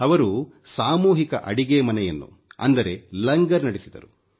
ಅವರು ಸಾಮೂಹಿಕ ಅಡಿಗೆ ಮನೆಯನ್ನು ಅಂದರೆ ಲಂಗರ್ ನಡೆಸಿದರು